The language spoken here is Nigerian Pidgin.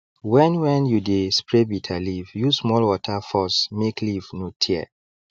when when you dey spray bitterleaf use small water force make leaf no tear